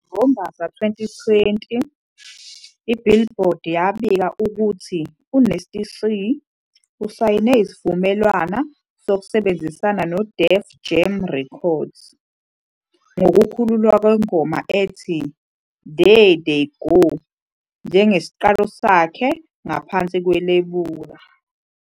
NgoMbasa 2020, "iBillboard" yabika ukuthi uNasty C usayine isivumelwano sokusebenzisana neDef Jam Records, ngokukhululwa kwengoma ethi "There They Go" njengesiqalo sakhe ngaphansi kwelebula.